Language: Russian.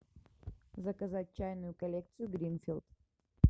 заказать чайную коллекцию гринфилд